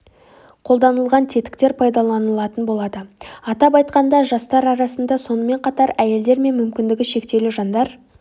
қолданылған тетіктер пайдаланылатын болады атап айтқанда жастар арасында сонымен қатар әйелдер мен мүмкіндігі шектеулі жандар